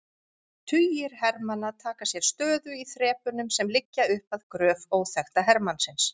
Tugir hermanna taka sér stöðu í þrepunum sem liggja upp að gröf óþekkta hermannsins.